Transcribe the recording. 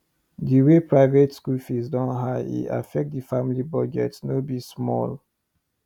the way private school fee don high e affect the family budget no be small